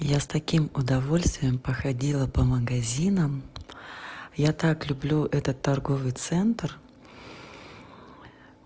я с таким удовольствием походила по магазинам я так люблю этот торговый центр